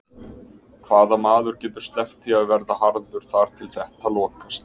Hvaða maður getur sleppt því að verða harður þar til þetta lokast?